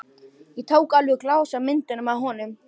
Ég tók alveg glás af myndum af honum.